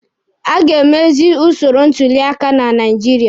A ga emezi usoro ntuli aka na Naijiria.